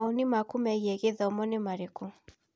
Nĩ kĩĩ mawoni maku megiĩ gĩthomo?